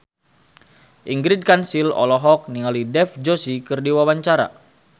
Ingrid Kansil olohok ningali Dev Joshi keur diwawancara